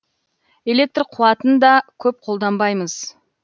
электр қуатын да көп қолданбаймыз